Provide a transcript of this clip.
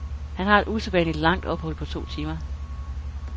Han har et usædvanligt langt ophold på to timer.